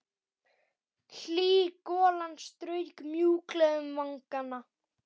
Hlý golan strauk mjúklega um vangana.